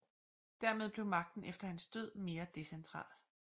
Dermed blev magten efter hans død mere decentral